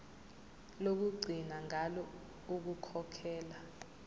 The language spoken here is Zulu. lokugcina ngalo ukukhokhela